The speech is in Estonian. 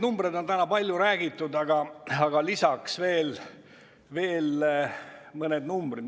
Numbritest on täna palju räägitud, aga lisaks veel mõned.